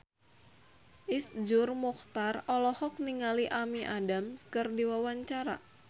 Iszur Muchtar olohok ningali Amy Adams keur diwawancara